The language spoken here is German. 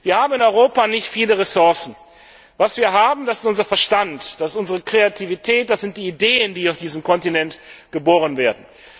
Wir haben in Europa nicht viele Ressourcen. Was wir haben ist unser Verstand, ist unsere Kreativität, es sind die Ideen, die auf diesem Kontinent geboren werden.